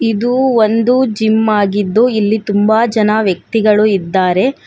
ಇದು ಒಂದು ಜಿಮ್ ಆಗಿದ್ದು ಇಲ್ಲಿ ತುಂಬಾ ಜನ ವ್ಯಕ್ತಿಗಳು ಇದ್ದಾರೆ.